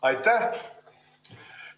Aitäh!